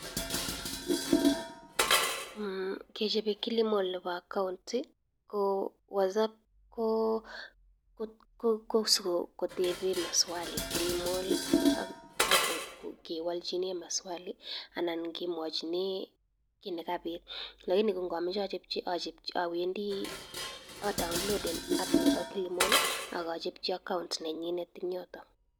Kechap Kilimall neba account, ko sipe kotepen maswali ak kiwalchini maswali anan kiamwochi tuguk che kapit.